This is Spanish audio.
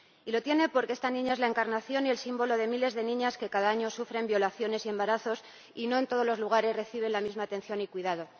Y lo tiene porque esta niña es la encarnación y el símbolo de miles de niñas que cada año sufren violaciones y embarazos y no en todos los lugares reciben la misma atención y cuidado.